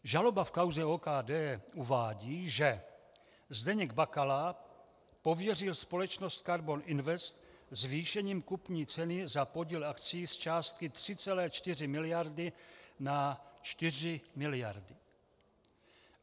Žaloba v kauze OKD uvádí, že Zdeněk Bakala pověřil společnost Karbon Invest zvýšením kupní ceny za podíl akcií z částky 3,4 miliardy na 4 miliardy.